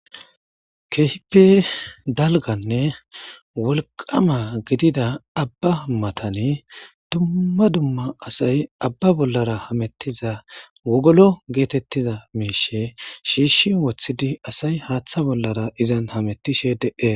Kehippe dalganne wolqa gidida aba matani dumma dumma asati wogolo gizayissa woththidi issi bottappe issi bootta pinizayssa besses